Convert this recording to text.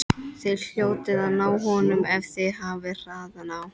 Þið hljótið að ná honum ef þið hafið hraðan á.